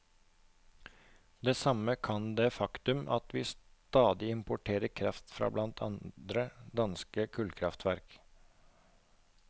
Det samme kan det faktum at vi stadig importerer kraft fra blant andre danske kullkraftverk.